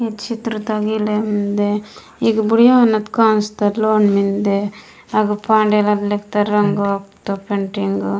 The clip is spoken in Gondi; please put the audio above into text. इच्छित्रता गिलंद मिन्दे इक बुढ़िया नत कोनस्त लोन मिंडे